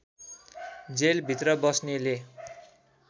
जेलभित्र बस्नेले